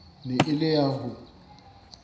ne e le ya ho